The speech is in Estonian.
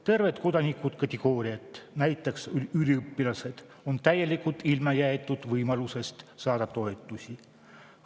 Terved kodanikukategooriad, näiteks üliõpilased, on täielikult ilma jäetud võimalusest saada toetusi.